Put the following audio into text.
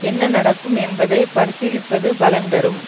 என்ன நடக்கும் என்பதை பரிசீலிப்பது பலன் தரும்